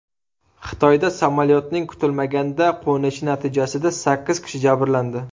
Xitoyda samolyotning kutilmaganda qo‘nishi natijasida sakkiz kishi jabrlandi.